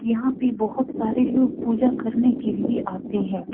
यहाँ पे बहुत सारे लोग पूजा करने के लिए आते हैं।